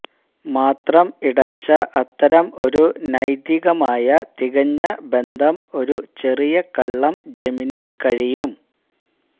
മാത്രം ഇടർച്ച അത്തരം ഒരു നൈതികമായ തികഞ്ഞ ബന്ധം ഒരു ചെറിയ കള്ളം ജെമിനി കഴിയും